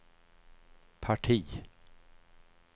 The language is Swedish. parti